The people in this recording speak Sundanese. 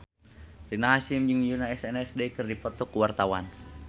Rina Hasyim jeung Yoona SNSD keur dipoto ku wartawan